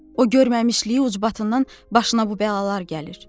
O görməmişliyi ucbatından başına bu bəlalar gəlir.